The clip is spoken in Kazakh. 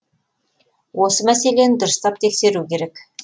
осы мәселені дұрыстап тексеру керек